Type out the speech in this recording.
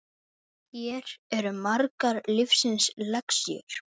Hér eru margar lífsins lexíur.